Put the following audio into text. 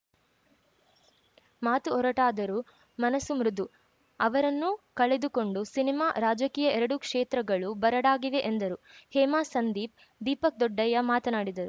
ಮಾತು ಒರಟಾದರೂ ಮನಸ್ಸು ಮೃದು ಅವರನ್ನು ಕಳೆದುಕೊಂಡು ಸಿನಿಮಾ ರಾಜಕೀಯ ಎರಡೂ ಕ್ಷೇತ್ರಗಳು ಬರಡಾಗಿವೆ ಎಂದರು ಹೇಮಾ ಸಂದೀಪ್‌ ದೀಪಕ್‌ ದೊಡ್ಡಯ್ಯ ಮಾತನಾಡಿದರು